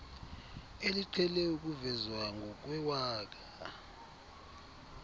eliqhele ukuvezwa ngokwewaka